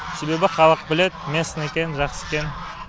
себебі халық біледі местный екенін жақсы екенін